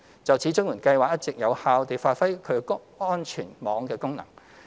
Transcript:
就此，綜援計劃一直有效地發揮其安全網功能。